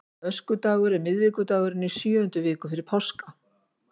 Öskudagur er miðvikudagurinn í sjöundu viku fyrir páska.